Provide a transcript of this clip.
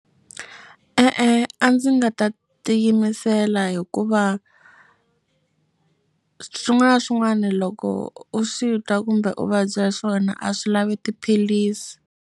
E-e, a ndzi nga ta tiyimisela hikuva swin'wana na swin'wana loko u swi twa kumbe u vabya swona a swi lavi tiphilisi.